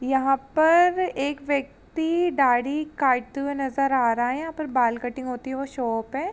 यहाँ पर एक व्यक्ति दाढ़ी काटते हुए नजर आ रहा है। यहाँ पर बाल कटिंग होती है। वो शॉप है।